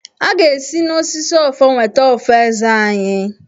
A ga-esi n'osisi ọfọ weta ọfọ Eze anyị.